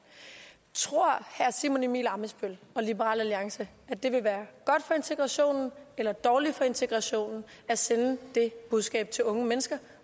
tror herre simon emil ammitzbøll og liberal alliance at det vil være godt for integrationen eller dårligt for integrationen at sende det budskab til unge mennesker